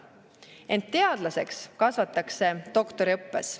Ent teadlaseks kasvatakse doktoriõppes.